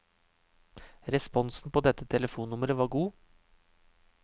Responsen på dette telefonnummeret var god.